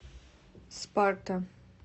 спарта